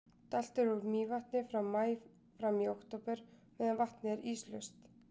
Dælt er úr Mývatni frá maí fram í október meðan vatnið er íslaust.